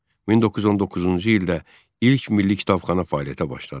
1919-cu ildə ilk milli kitabxana fəaliyyətə başladı.